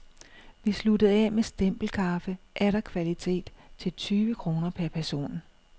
Vi sluttede af med stempelkaffe, atter kvalitet, til tyve kroner per person.